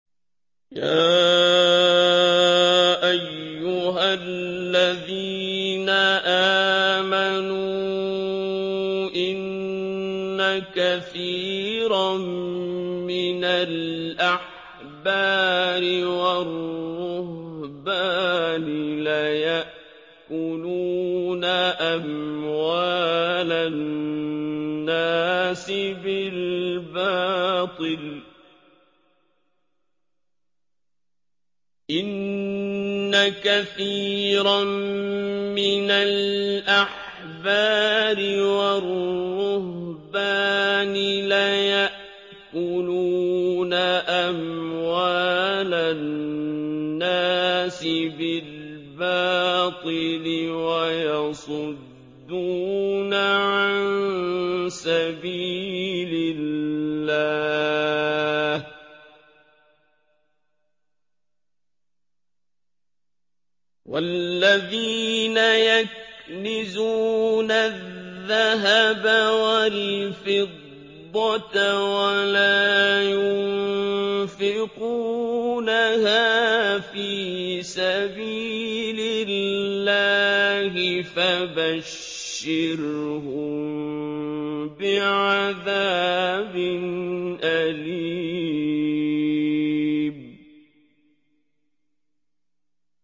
۞ يَا أَيُّهَا الَّذِينَ آمَنُوا إِنَّ كَثِيرًا مِّنَ الْأَحْبَارِ وَالرُّهْبَانِ لَيَأْكُلُونَ أَمْوَالَ النَّاسِ بِالْبَاطِلِ وَيَصُدُّونَ عَن سَبِيلِ اللَّهِ ۗ وَالَّذِينَ يَكْنِزُونَ الذَّهَبَ وَالْفِضَّةَ وَلَا يُنفِقُونَهَا فِي سَبِيلِ اللَّهِ فَبَشِّرْهُم بِعَذَابٍ أَلِيمٍ